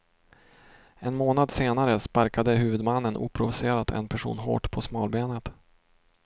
En månad senare sparkade huvudmannen oprovocerat en person hårt på smalbenet.